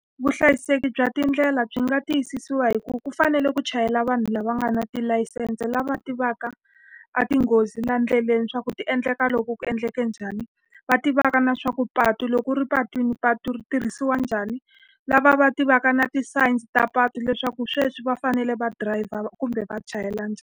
Vuhlayiseki bya tindlela byi nga tiyisisiwa hi ku va ku fanele ku chayela vanhu lava nga na tilayisense, lava tivaka a tinghozi laha ndleleni leswaku ti endleka loko ku endleke njhani. Va tivaka na leswaku patu loko u ri epatwini patu ri tirhisiwa njhani, lava va tivaka na ti-signs ta patu leswaku sweswi va fanele va drive-a kumbe va chayela njhani.